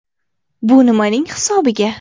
Bu nimaning hisobiga?